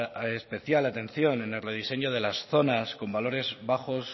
especial atención en el rediseño de las zonas con valores bajos